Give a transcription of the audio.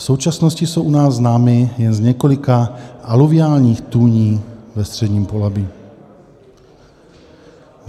V současnosti jsou u nás známy jen z několika aluviálních tůní ve středním Polabí.